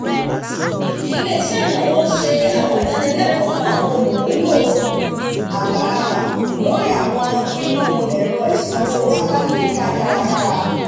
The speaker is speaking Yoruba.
ilé-iṣẹ́ ìnáwó ń ṣe àwọn ìdánilẹ́kọ̀ọ́ fún àwọn olùmúlò àgbàlagbà lórí àwọn irú ẹ̀rọ ìsanwó alágbèéká dáradára